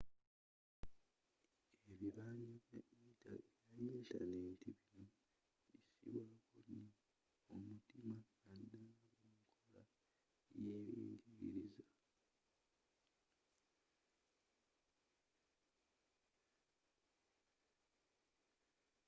ebibanja bya yintaneti bino bisibwako nyo omutima naddala mu nkola yeby'enjigiriza